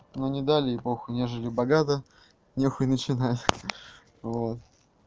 но не дали и похуй не жили богато не хуй начинать вот